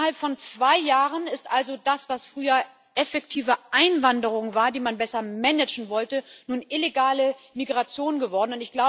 Innerhalb von zwei Jahren ist also das, was früher effektive Einwanderung war, die man besser managen wollte, nun illegale Migration geworden.